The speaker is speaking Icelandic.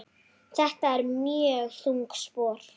Þetta eru mjög þung spor.